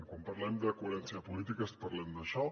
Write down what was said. quan parlem de coherència política parlem d’això